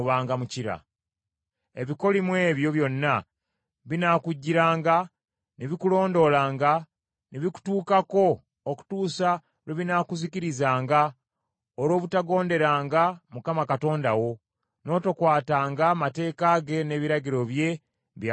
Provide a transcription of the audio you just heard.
Ebikolimo ebyo byonna binaakujjiranga ne bikulondoolanga ne bikutuukako okutuusa lwe binaakuzikirizanga olw’obutagonderanga Mukama Katonda wo, n’otokwatanga mateeka ge na biragiro bye, bye yakulagiranga.